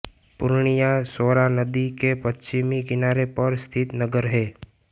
पूर्णिया सौरा नदी के पश्चिमी किनारे पर स्थित नगर है